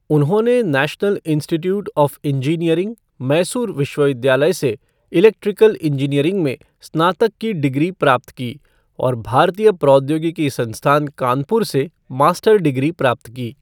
उन्होंने National Institute of Engineering, Mysore विश्वविद्यालय से इलेक्ट्रिकल इंजीनियरिंग में स्नातक की डिग्री प्राप्त की और भारतीय प्रौद्योगिकी संस्थान कानपुर से मास्टर डिग्री प्राप्त की।